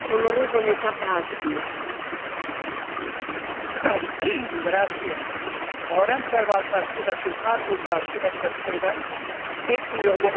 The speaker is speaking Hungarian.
A rendszerváltást követő kárpótlás következtében kétmillió magyar ember kapta vissza jogos tulajdonát, a földjét, amelytől a kommunizmus idején megfosztották.